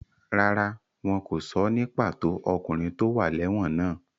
Rárá, wọn kò sọ ní pàtó ọkùnrin tó wà lẹ́wọ̀n náà.